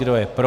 Kdo je pro?